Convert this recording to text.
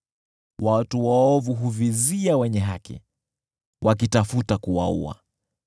Watu waovu huvizia wenye haki, wakitafuta kuwaua;